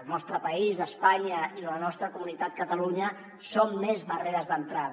el nostre país espanya i la nostra comunitat catalunya són més barreres d’entrada